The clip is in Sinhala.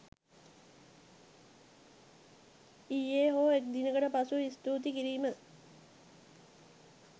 ඊයෙ හෝ එක් දිනකට පසුව ස්තුති කිරීම